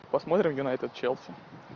посмотрим юнайтед челси